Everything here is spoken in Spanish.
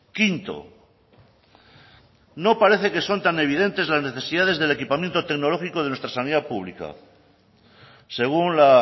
quinto no parece que son tan evidentes las necesidades del equipamiento tecnológico de nuestra sanidad pública según la